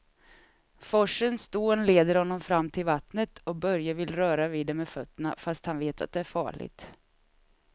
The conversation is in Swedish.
Forsens dån leder honom fram till vattnet och Börje vill röra vid det med fötterna, fast han vet att det är farligt.